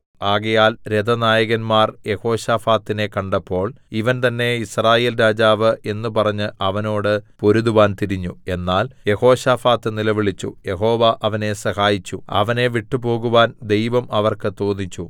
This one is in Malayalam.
ആകയാൽ രഥനായകന്മാർ യെഹോശാഫാത്തിനെ കണ്ടപ്പോൾ ഇവൻ തന്നേ യിസ്രായേൽ രാജാവ് എന്ന് പറഞ്ഞ് അവനോട് പൊരുതുവാൻ തിരിഞ്ഞു എന്നാൽ യെഹോശാഫാത്ത് നിലവിളിച്ചു യഹോവ അവനെ സഹായിച്ചു അവനെ വിട്ടുപോകുവാൻ ദൈവം അവർക്ക് തോന്നിച്ചു